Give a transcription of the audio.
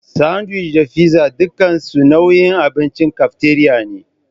Sandiwic da figza dukansu nau'in abincin kafteriya ne.